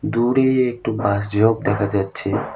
দূরে একটু বাঁশ ঝোপ দেখা যাচ্ছে।